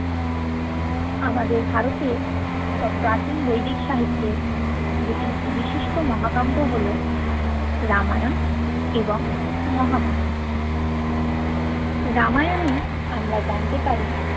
আমাদের ভারতের বা প্রাচিন বৈদিক সাহিত্যে দুটি বিশিষ্ট মহাকাব্য হল রামায়ন এবং মহাভারত রামায়নে আমরা জানতে পারি